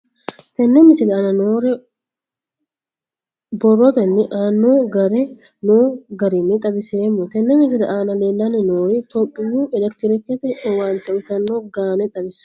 Tenne misile aana noore borrotenni aane noo garinni xawiseemo. Tenne misile aana leelanni nooerri toophiyu elekitireekete owaante uyitanno gaane xawissanno.